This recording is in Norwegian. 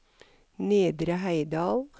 Nedre Heidal